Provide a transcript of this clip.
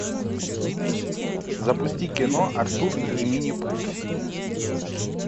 запусти кино артур и минипуты